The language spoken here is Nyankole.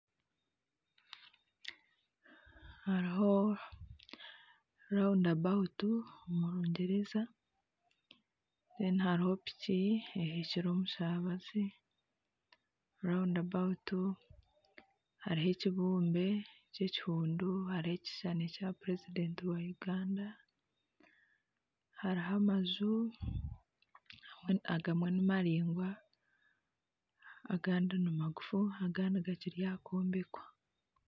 Haruho rawundi abawutu haruho piki ehekire omushabazi rawundi abawutu haruho ekibumbe ky'ekihundu haruho ekishushani Kya purezidenti wa Uganda haruho amaju agamwe ni maraingwa agandi nimagufu agandi gakiri ahakwombekwa.